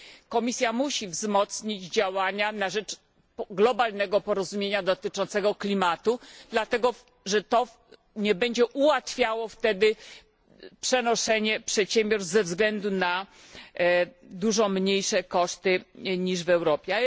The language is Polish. Komisja musi wzmocnić działania na rzecz globalnego porozumienia dotyczącego klimatu, dlatego że to nie będzie ułatwiało przenoszenia przedsiębiorstw ze względu na dużo mniejsze koszty niż w Europie.